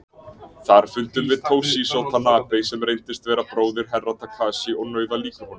Þar fundum við Toshizo Tanabe sem reyndist vera bróðir Herra Takashi og nauðalíkur honum.